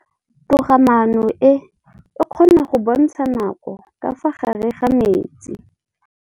Toga-maanô e, e kgona go bontsha nakô ka fa gare ga metsi.